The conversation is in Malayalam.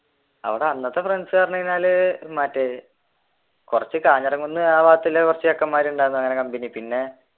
അവിടെ അന്നത്തെ friends പറഞ്ഞുകഴിഞ്ഞാൽ മറ്റേ കുറച്ചു ആ ഭാഗത്തിലുള്ള കുറച്ചു ചെക്കന്മാർ ഉണ്ടായിരുന്നു കമ്പനി പിന്നെ